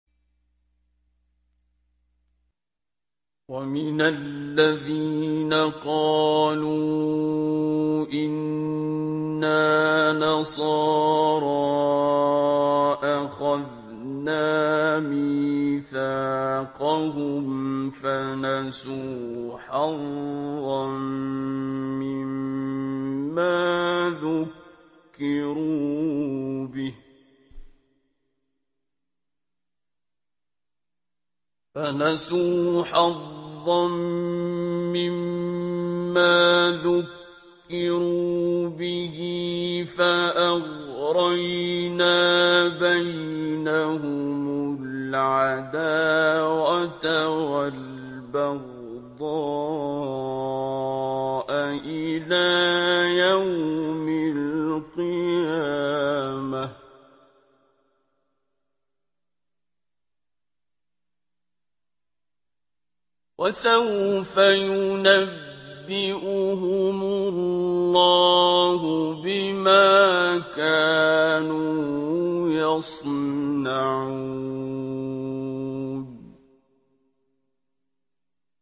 وَمِنَ الَّذِينَ قَالُوا إِنَّا نَصَارَىٰ أَخَذْنَا مِيثَاقَهُمْ فَنَسُوا حَظًّا مِّمَّا ذُكِّرُوا بِهِ فَأَغْرَيْنَا بَيْنَهُمُ الْعَدَاوَةَ وَالْبَغْضَاءَ إِلَىٰ يَوْمِ الْقِيَامَةِ ۚ وَسَوْفَ يُنَبِّئُهُمُ اللَّهُ بِمَا كَانُوا يَصْنَعُونَ